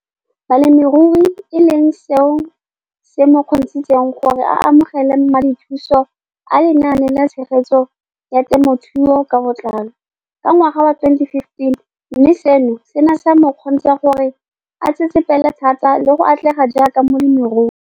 Balemirui e leng seo se mo kgontshitseng gore a amogele madithuso a Lenaane la Tshegetso ya Te mothuo ka Botlalo, CASP] ka ngwaga wa 2015, mme seno se ne sa mo kgontsha gore a tsetsepele thata le go atlega jaaka molemirui.